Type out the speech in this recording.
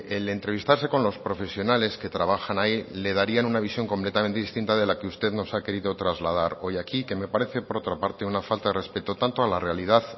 el entrevistarse con los profesionales que trabajan ahí le darían una visión completamente distinta de la que usted nos ha querido trasladar hoy aquí que me parece por otra parte una falta de respeto tanto a la realidad